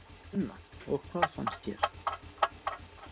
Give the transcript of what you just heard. Sunna: Og hvað finnst þér?